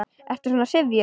Ertu svona syfjuð?